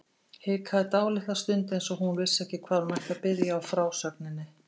Hikaði dálitla stund eins og hún vissi ekki hvar hún ætti að byrja á frásögninni.